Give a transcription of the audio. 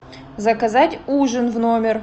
заказать ужин в номер